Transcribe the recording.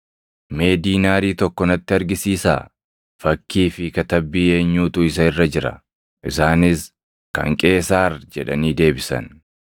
“Mee diinaarii tokko natti argisiisaa. Fakkii fi katabbii eenyuutu isa irra jira?” Isaanis, “Kan Qeesaar” jedhanii deebisan.